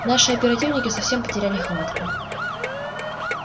наши оперативники совсем потеряли хватку